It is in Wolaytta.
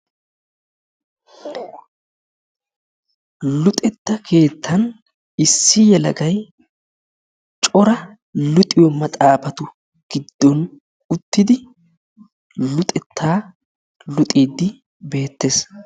luxetta keettan issi yelegay issi yelagay cora luxxiyo maxaafatu giddon uttidi luxetta luxiddi beettees.